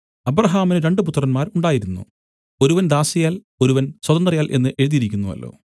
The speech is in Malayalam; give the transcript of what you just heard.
അബ്രാഹാമിന് രണ്ട് പുത്രന്മാർ ഉണ്ടായിരുന്നു ഒരുവൻ ദാസിയാൽ ഒരുവൻ സ്വതന്ത്രയാൽ എന്ന് എഴുതിയിരിക്കുന്നുവല്ലോ